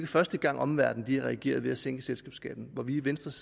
første gang omverdenen reagerer ved at sænke selskabsskatten hvor vi i venstres